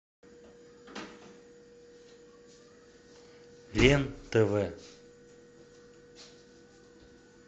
лен тв